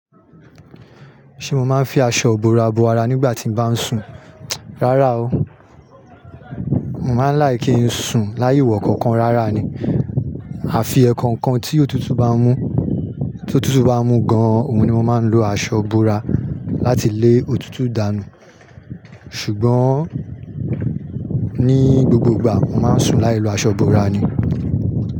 Ṣé mo máa ń fi aṣọ ìbora bo ara nígbà tí mo bá ń sùn? Rárá o, mo máa ń láìkí n sùn láiwọ nkankan rárá ni. Àfi ẹkankan tí òtútù bá ń mú, tí òtútù bá ń mú gan-an, òun ni mo máa ń lo aṣọ ìbora láti lé òtútù dànù. Ṣùgbọ́n ní gbogbo ìgbà, mo máa ń sùn láì lo aṣọ ìbora ni.